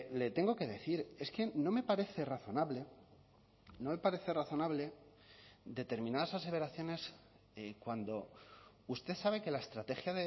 le tengo que decir es que no me parece razonable no me parece razonable determinadas aseveraciones cuando usted sabe que la estrategia